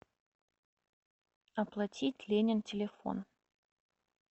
оплатить ленин телефон